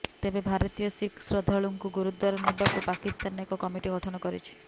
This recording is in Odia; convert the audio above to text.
ତେବେ ଭାରତୀୟ ଶିଖ୍ ଶ୍ରଦ୍ଧାଳୁଙ୍କୁ ଗୁରୁଦ୍ୱାର ନେବାକୁ ପାକିସ୍ତାନ ଏକ କମିଟି ଗଠନ କରିଛି